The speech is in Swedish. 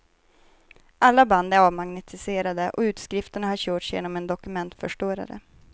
Alla band är avmagnetiserade och utskrifterna har körts genom en dokumentförstörare.